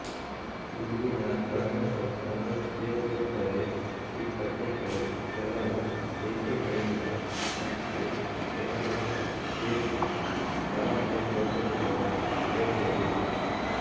ಇಲ್ಲಿನ ಪ್ರಮುಖ ಸಮಸ್ಯೆಯೊಂದೆಂದರೆ ಈ ಕಥೆಗಳು ಕೆಲವು ದೇಶಗಳಿಂದ ಮತ್ತೆ ಕೆಲವಕ್ಕೆ ಏಕೆ ವಲಸೆ ಹೋಗುತ್ತವೆ ಎಂಬುದು